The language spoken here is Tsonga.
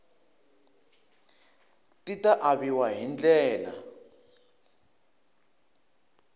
ti ta aviwa hi ndlela